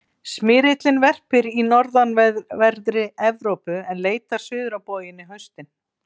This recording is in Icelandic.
smyrillinn verpir í norðanverðri evrópu en leitar suður á bóginn á haustin